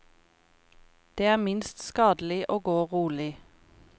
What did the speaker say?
Det er minst skadelig å gå rolig.